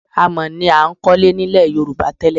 Amọ̀ ni a ń kọ́lé nílẹ̀ Yorùbá tẹ́lẹ̀